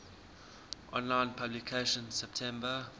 online publication september